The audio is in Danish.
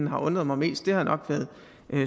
har undret mig mest har nok været